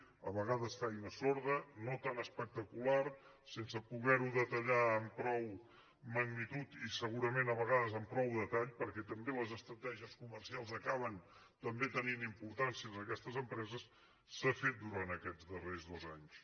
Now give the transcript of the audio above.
a vegades feina sorda no tan espectacular sense poder ho detallar amb prou magnitud i segurament a vegades amb prou detall perquè també les estratègies comercials acaben també tenint importància en aquestes empreses s’ha fet durant aquests darrers dos anys